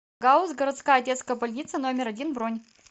гауз городская детская больница номер один бронь